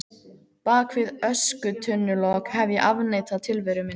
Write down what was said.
Bak við öskutunnulok hef ég afneitað tilveru minni.